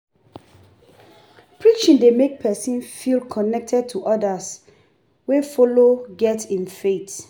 Preaching dey mek pesin feel connected to odas wey follow get im faith.